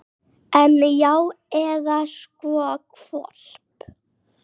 En. já, eða sko hvolp.